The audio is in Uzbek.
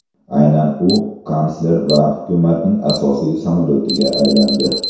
Aynan u kansler va hukumatning asosiy samolyotiga aylandi.